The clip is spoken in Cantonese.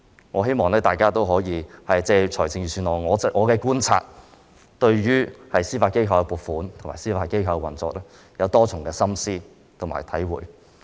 我希望大家可以藉着我的觀察，對預算案向司法機構的撥款和司法機構的運作有多一層深思和體會。